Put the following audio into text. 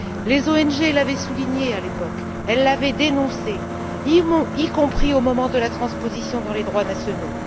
Les ONG l'avaient souligné à l'époque, elles l'avaient dénoncé, y compris au moment de la transposition dans les droits nationaux.